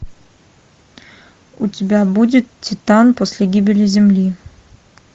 у тебя будет титан после гибели земли